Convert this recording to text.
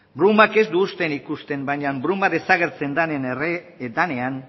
brumak ez du uzten ikusten baina bruma desagertzen denean